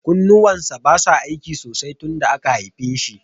Kunnuwan sa basa aiki sosai tun sanda aka haife shi.